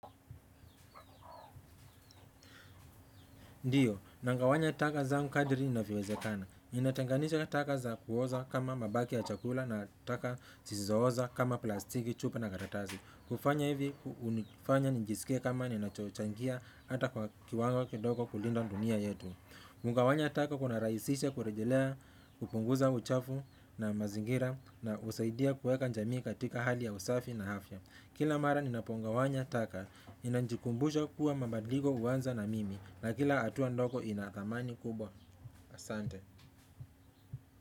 Ndiyo, na gawanya taka zangu kadiri inavyowezekana. Ninatanganisha taka za kuoza kama mabaki ya chakula na taka zisizo oza kama plastiki, chupa na karatasi. Kufanya hivi, hunifanya nijisike kama ninachochangia ata kwa kiwango kidogo kulinda dunia yetu. Kugawanya taka kuna rahisisha kurejelea, kupunguza uchafu na mazingira na husaidia kueka jamii katika hali ya usafi na afya. Kila mara ninapongawanya taka, nina jikumbusha kuwa mabadiliko huanza na mimi na kila atua ndogo ina dhamani kubwa asante.